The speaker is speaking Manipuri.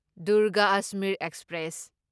ꯗꯨꯔꯒ ꯑꯖꯃꯤꯔ ꯑꯦꯛꯁꯄ꯭ꯔꯦꯁ